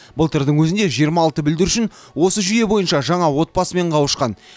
былтырдың өзінде жиырма алты бүлдіршін осы жүйе бойынша жаңа отбасымен қауышқан